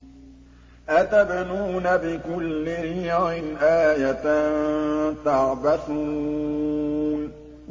أَتَبْنُونَ بِكُلِّ رِيعٍ آيَةً تَعْبَثُونَ